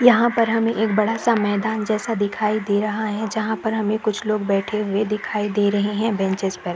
यहाँ पर हमें बड़ा-सा मैदान जैसा दिखाई दे रहा है जहाँ पर हमें कुछ लोग बैठे दिखाई दे रहे है बेंचेस पर--